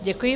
Děkuji.